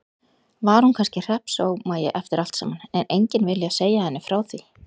Var hún kannski hreppsómagi eftir allt saman, en enginn viljað segja henni frá því?